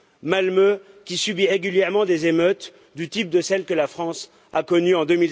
Malmö, qui subit régulièrement des émeutes du type de celles que la France a connues en